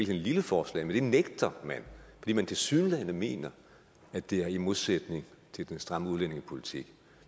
lille forslag men det nægter man fordi man tilsyneladende mener at det er i modsætning til den stramme udlændingepolitik